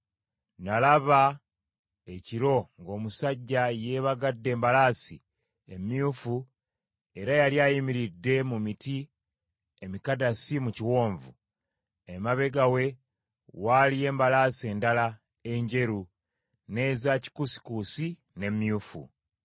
Nalaba ekiro ng’omusajja yeebagadde embalaasi emyufu era yali ayimiridde mu miti emikadasi mu kiwonvu. Emabega we waaliyo embalaasi endala, enjeru, n’eza kikuusikuusi, n’emyufu.